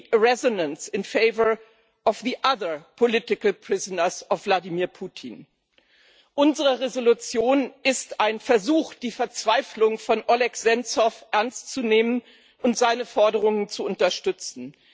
Unsere Entschließung ist ein Versuch, die Verzweiflung von Oleh Senzow ernstzunehmen und seine Forderungen zu unterstützen.